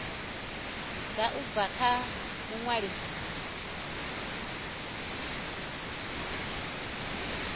ḓa u bva kha muṅwalisi